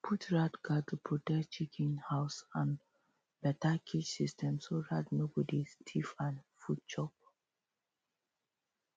put rat guard to protect chicken um house and better cage system so rat no go dey thief um food chop